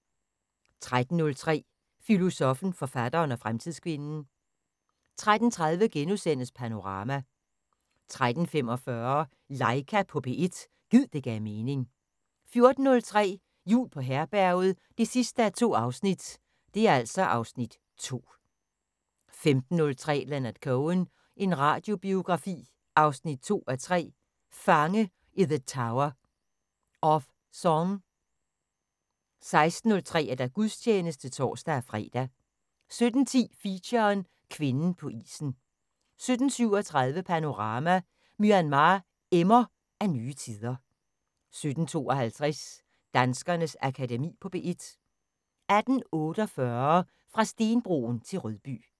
13:03: Filosoffen, forfatteren og fremtidskvinden 13:30: Panorama * 13:45: Laika på P1 – gid det gav mening 14:03: Jul på Herberget 2:2 (Afs. 2) 15:03: Leonard Cohen – en radiobiografi 2:3: Fange i the tower – of Song 16:03: Gudstjeneste (tor-fre) 17:10: Feature: Kvinden på isen 17:37: Panorama: Myanmar emmer af nye tider 17:52: Danskernes Akademi på P1 18:48: Fra stenbroen til Rødby